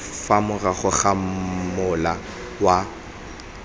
fa morago ga mola wa